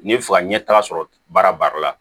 N'i bɛ fɛ ka ɲɛtaga sɔrɔ baara baara la